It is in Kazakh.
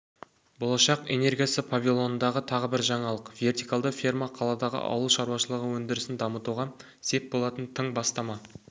болашақ энергиясы павильонындағы тағы бір жаңалық вертикалды ферма қаладағы ауылшаруашылығы өндірісін дамытуға сеп болатын тың бастама